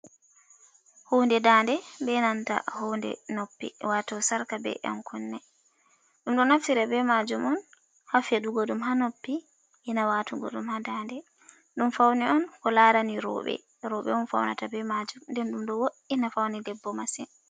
Hunde da nde be nanta hunde noppi, wato sarka be ɗan kunne. Ɗum ɗo naftira be majum on ha feɗugo ɗum ha noppi. E na watugo ɗum ha da nde ɗum paune on ko larani roɓe. Roɓe on faunata be majum, nden ɗum ɗo wo’ina paune debbo masin.